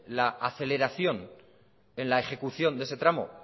la aceleración en la ejecución de ese tramo